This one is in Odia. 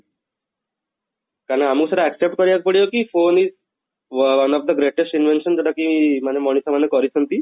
ତାହେଲେ ଆମକୁ ସେଟା accept କରିବାକୁ ପଡିବ କି phone is one of the greatest invention ଯଉଟା କି ମାନେ ମଣିଷ ମାନେ କରିଛନ୍ତି